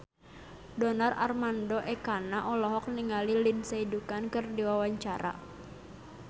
Donar Armando Ekana olohok ningali Lindsay Ducan keur diwawancara